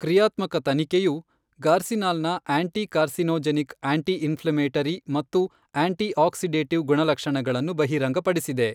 ಕ್ರಿಯಾತ್ಮಕ ತನಿಖೆಯು ಗಾರ್ಸಿನಾಲ್ನ ಆಂಟಿ ಕಾರ್ಸಿನೋಜೆನಿಕ್ ಆಂಟಿ ಇನ್ಫ್ಲಮೇಟರಿ ಮತ್ತು ಆಂಟಿ ಆಕ್ಸಿಡೇಟಿವ್ ಗುಣಲಕ್ಷಣಗಳನ್ನು ಬಹಿರಂಗಪಡಿಸಿದೆ.